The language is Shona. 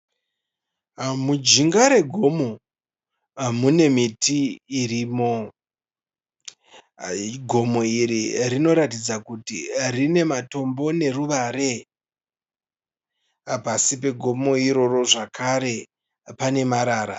Mujinga regomo mune miti irimo. Gomo iri rinoratidza kuti rine matombo neruvare. Pasi pegomo iroro zvakare pane marara.